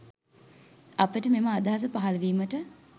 අපට මෙම අදහස පහල වීමට